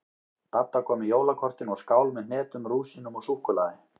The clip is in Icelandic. Dadda kom með jólakortin og skál með hnetum, rúsínum og súkkulaði.